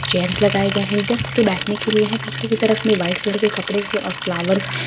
chairs लगाए गए हैंगेस्ट के बैठने के लिए हैपीछे की तरफ में वाइट कलर के कपड़े से और फ्लावर्स --